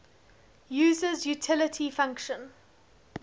user's utility function